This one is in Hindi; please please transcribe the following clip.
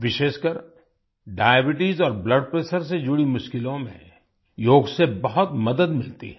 विशेषकर डायबीट्स और ब्लड प्रेशर से जुड़ी मुश्किलों में योग से बहुत मदद मिलती है